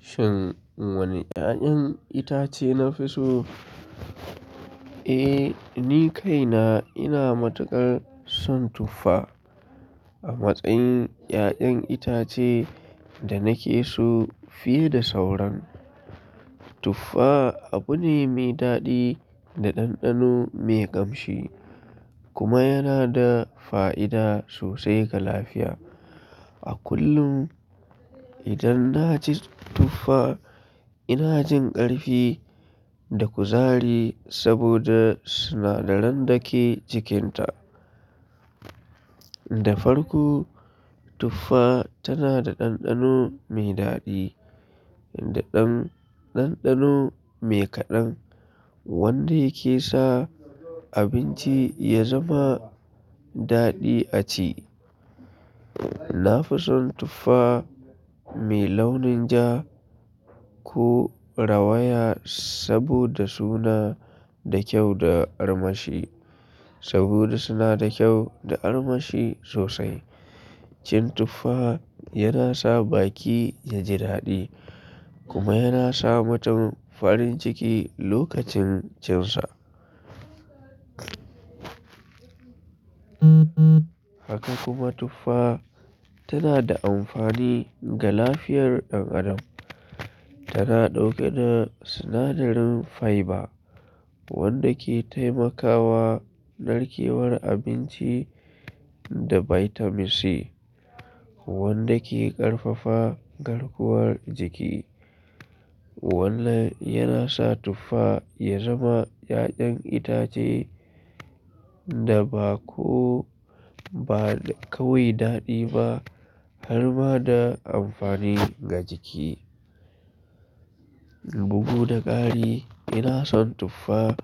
Shin wane 'ya'yan itace nafi so? Eh, ni kaina ina matukar son tuffa a matsayin 'ya'yan itace da nake so fiye da sauran. Tuffa abu ne mai daɗi da ɗanɗano mai ƙamshi kuma yana da fa'ida sosai ga lafiya. A kullum idan na ci tuffa ina jin ƙarfi da kuzari saboda sinadaran da ke cikinta. Da farko, tuffa tana da ɗanɗano mai daɗi da ɗanɗano mai kaɗan wanda yake sa abinci ya zama daɗi a ci. Na fi son tuffa mai launin ja ko rawaya saboda suna da kyau da armashi, saboda suna da kyau da armashi sosai. Cin tuffa yana sa baki ya ji daɗi kuma yana sa mutum farin ciki lokacin cin sa. Haka kuma tuffa tana da amfani ga lafiyar ɗan adam. Tana ɗauke da sinadarin fiber wanda ke taimakawa narkewar abinci da bitamin C wanda ke ƙarfafa garkuwar jiki. Wannan yana sa tuffa ya zama 'ya'yan itace da ba kawai daɗi ba har ma da amfani ga jiki. Bugu da kari ina son tuffa.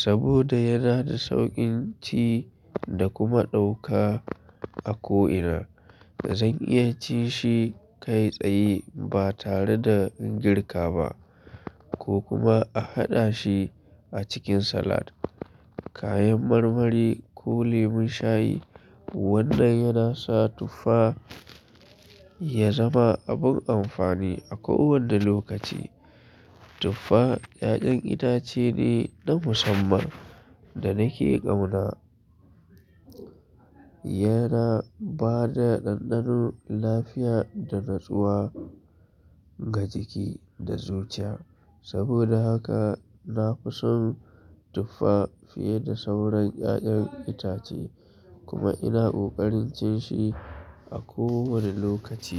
Saboda yana da saukin ci da kuma dauka a ko ina Zan iya ci shi kai tsaye ba tare da in girka ba ko kuma a haɗa shi a cikin salad, kayan marmari ko lemon shayi. Wannan yana sa tuffa ya zama abin amfani a kowane lokaci. Tuffa 'ya'yan itace ne na musamman da nake ƙauna. Yana ba da ɗanɗano, lafiya da natsuwa ga jiki da zuciya. Saboda haka na fi son tuffa fiye da sauran 'ya'yan itace kuma ina ƙoƙarin cin shi a kowane lokaci.